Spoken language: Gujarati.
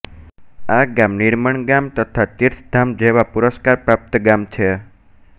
આ ગામ નિર્મળ ગામ તથા તીર્થ ધામ જેવા પુરસ્કાર પ્રાપ્ત ગામ છે